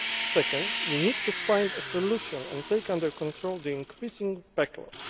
Second, we need to find a solution and take under control the increasing backlog.